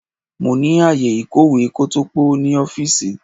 Mo ní ààyè ìkọ̀wé kótópó ní ọ́fíìsì.